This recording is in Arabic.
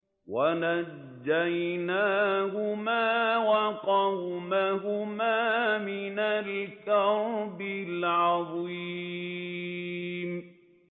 وَنَجَّيْنَاهُمَا وَقَوْمَهُمَا مِنَ الْكَرْبِ الْعَظِيمِ